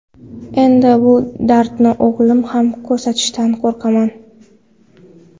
Endi bu dardni o‘g‘lim ham ko‘tarishidan qo‘rqaman”.